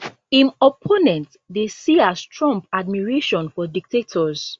im opponents dey see as trump admiration for dictators